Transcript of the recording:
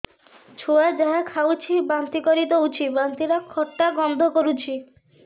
ଛୁଆ ଯାହା ଖାଉଛି ବାନ୍ତି କରିଦଉଛି ବାନ୍ତି ଟା ଖଟା ଗନ୍ଧ କରୁଛି